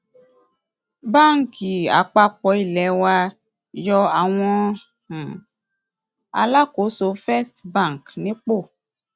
báńkì àpapọ ilé wa yọ àwọn um alákòóso first bank nípò